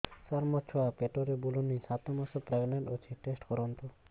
ସାର ମୋର ଛୁଆ ପେଟରେ ବୁଲୁନି ସାତ ମାସ ପ୍ରେଗନାଂଟ ଅଛି ଟେଷ୍ଟ କରନ୍ତୁ